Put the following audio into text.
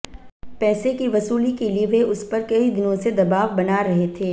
पैसे की वसूली के लिए वे उस पर कई दिनों से दबाव बना रहे थे